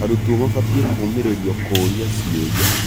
Arutwo mabatiĩ kũũmĩrĩrio kũũria ciũria.